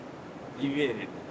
İnanırdılar.